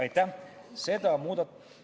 Aitäh!